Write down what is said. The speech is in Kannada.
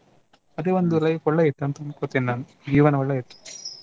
ಅದೇ ಒಂದು life ಒಳ್ಳೆ ಇತ್ತು ಅಂತ ಅನ್ಕೋತೀನಿ ನಾನು ಜೀವನ ಒಳ್ಳೆ ಇತ್ತು.